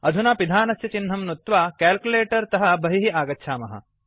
अधुना पिधानस्य चिह्नं नुत्त्वा कैल्कुलेटर तः बहिः आगच्छामः